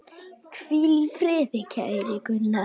Hvíl í friði, kæri Gunnar.